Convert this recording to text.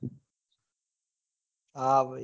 હા ભઈ